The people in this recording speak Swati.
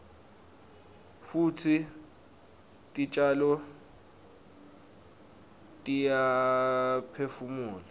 futsi titjalo tiyaphefumula